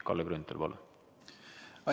Kalle Grünthal, palun!